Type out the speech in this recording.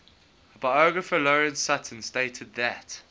biographer lawrence sutin stated that